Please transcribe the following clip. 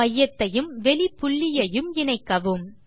மையத்தையும் வெளிப் புள்ளியையும் இணைக்கவும்